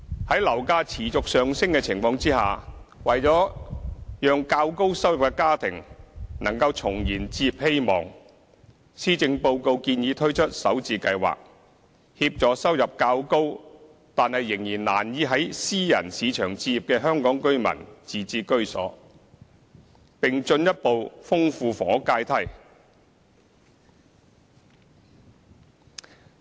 在樓價持續上升的情況下，為了讓較高收入的家庭能重燃置業希望，施政報告建議推出"港人首置上車盤"計劃，協助收入較高但仍難以在私人市場置業的香港居民自置居所，並進一步豐富房屋階梯。